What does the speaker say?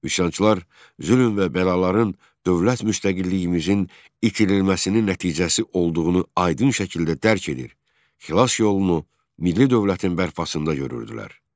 Üsyançılar zülm və bəlaların dövlət müstəqilliyimizin itirilməsinin nəticəsi olduğunu aydın şəkildə dərk edir, xilas yolunu milli dövlətin bərpasında görürdülər.